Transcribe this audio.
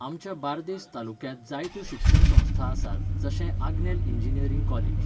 आमच्या बार्देस तालुक्यांत जायत्यो शिक्षण संस्था आसात, जशें आग्नेल इंजिनीयरींग कॉलेज.